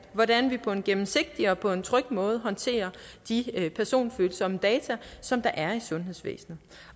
hvordan vi på en gennemsigtig og på en tryg måde håndterer de personfølsomme data som der er i sundhedsvæsenet